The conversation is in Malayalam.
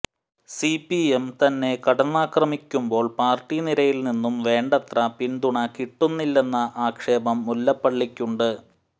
സിപിഎം തന്നെ കടന്നാക്രമിക്കുമ്പോൾ പാർട്ടി നിരയിൽ നിന്നും വേണ്ടത്ര പിന്തുണ കിട്ടുന്നില്ലെന്ന ആക്ഷേപം മുല്ലപ്പള്ളിക്കുണ്ട്